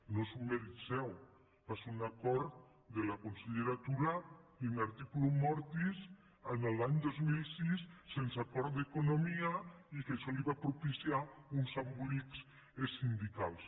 no és un mèrit seu va ser un acord de la consellera tura in articulo mortis l’any dos mil sis sense acord d’economia i que això li va propiciar uns embolics sindicals